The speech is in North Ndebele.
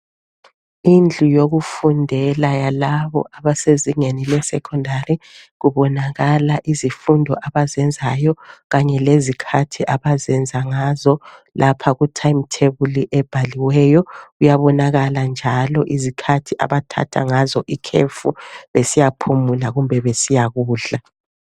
indlu yokufundela labo abesezingeni le secondary kubonakala izifundo abazenzayo kanye lezikahthi abazenza ngazo lapha ku time thebuli ebhaliweyo kuyabonakala njalo izikhathi abathatha ngazo ikhefu besiyaphumula kumbe besiyakudla